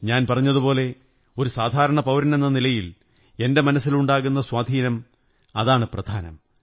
ഞാൻ പറഞ്ഞതുപോലെ ഒരു സാധാരണ പൌരനെന്ന നിലയിൽ എന്റെ മനസ്സിലുണ്ടാകുന്ന സ്വാധീനം അതാണു പ്രധാനം